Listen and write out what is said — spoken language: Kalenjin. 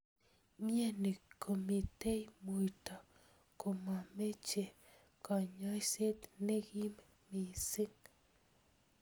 Mnyeni komitei muito komameche kanyoiset nekim missing.